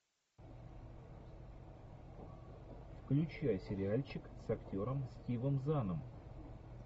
включай сериальчик с актером стивом заном